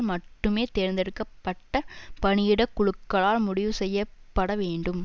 மட்டுமே தேர்ந்தெடுக்க பட்ட பணியிட குழுக்களால் முடிவு செய்ய பட வேண்டும்